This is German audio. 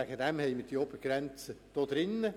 Deshalb haben wir diese Obergrenze festgeschrieben.